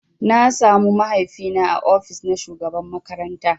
Na samu mahaifi na ã ofis na shugaban makaranta.